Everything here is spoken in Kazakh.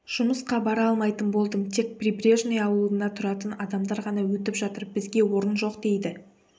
жұмысқа бара алмайтын болдым тек прибрежный ауылында тұратын адамдар ғана өтіп жатыр бізге орын жоқ дейді